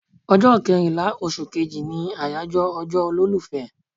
Ọjọ́ kẹrìnlá oṣù kejì ni àyájọ́ ọjọ́ olólùfẹ́